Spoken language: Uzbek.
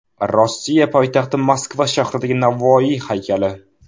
Rossiya poytaxti Moskva shahridagi Navoiy haykali.